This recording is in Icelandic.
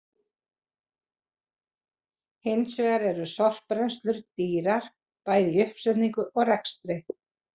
Hins vegar eru sorpbrennslur dýrar bæði í uppsetningu og rekstri.